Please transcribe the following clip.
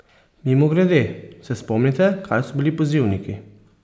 Mimogrede, se spomnite, kaj so bili pozivniki?